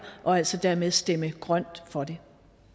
og altså dermed stemme grønt for det